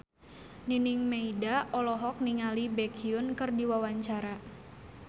Nining Meida olohok ningali Baekhyun keur diwawancara